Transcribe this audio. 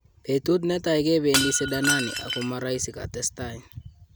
"Betut netai kebedi sidanani ako moroisi"katestai.